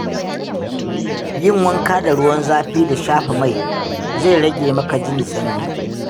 Yin wanka da ruwan zafi da shafa mai, zai rage maka jin sanyi.